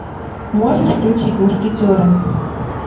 можешь включить мушкетеры